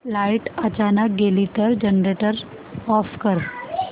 light अचानक गेली तर जनरेटर ऑफ कर